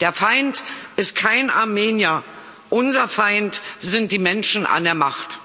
Der Feind ist kein Armenier unser Feind sind die Menschen an der Macht.